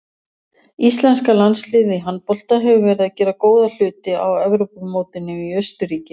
Íslenska landsliðið í handbolta hefur verið að gera góða hluti á Evrópumótinu í Austurríki.